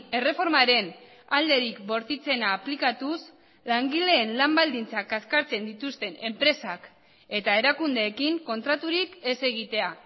erreformaren alderik bortitzena aplikatuz langileen lan baldintzak kaskartzen dituzten enpresak eta erakundeekin kontraturik ez egitea